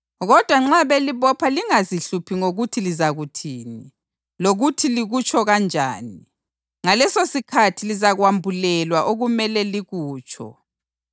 Kodwa nxa belibopha lingazihluphi ngokuthi lizakuthini lokuthi likutsho kanjani. Ngalesosikhathi lizakwambulelwa okumele likutsho,